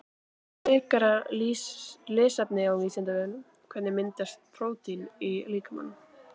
Frekara lesefni á Vísindavefnum Hvernig myndast prótín í líkamanum?